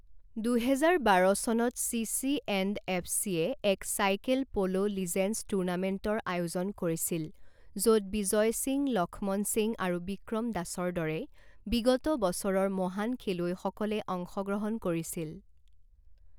দুহেজাৰ বাৰ চনত চিচিএণ্ডএফচিয়ে এক চাইকেল প'ল' লিজেণ্ডছ টুৰ্ণামেণ্টৰ আয়োজন কৰিছিল য'ত বিজয় সিং, লক্ষ্মণ সিং আৰু বিক্ৰম দাসৰ দৰে বিগত বছৰৰ মহান খেলুৱৈসকলে অংশগ্ৰহণ কৰিছিল।